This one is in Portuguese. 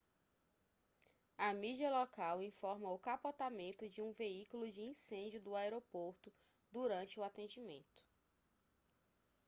a mídia local informa o capotamento de um veículo de incêndio do aeroporto durante o atendimento